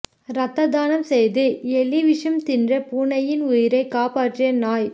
ரத்த தானம் செய்து எலி விஷம் தின்ற பூனையின் உயிரை காப்பாற்றிய நாய்